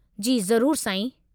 जी ज़रूरु, साईं।